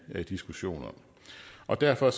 diskussion om og derfor